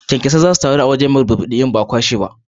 Kyankyasai za su taru a wuri mai burbuɗi in ba a kwashe ba